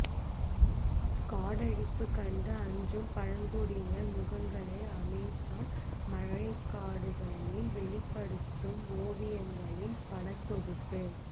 காடழிப்பு கண்டு அஞ்சும் பழங்குடியினர் முகங்களை அமேசான் மழைக்காடுகளில் வெளிப்படுத்தும் ஓவியங்களின் படத்தொகுப்பு